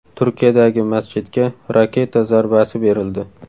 Turkiyadagi masjidga raketa zarbasi berildi.